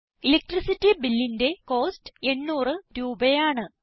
electricity bill ന്റെ cost 800 രൂപയാണ്